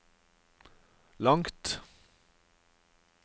langt